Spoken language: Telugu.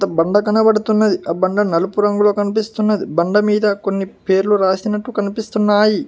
బండ కనబడుతున్నది ఆ బండ నలుపు రంగులో కనిపిస్తున్నది బండ మీద కొన్ని పేర్లు రాసినట్టు కనిపిస్తున్నాయి.